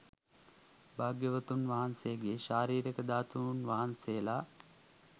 භාග්‍යවතුන් වහන්සේගේ ශාරීරික ධාතූන් වහන්සේලා